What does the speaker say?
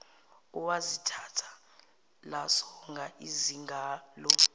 owazithatha lasonga izingalo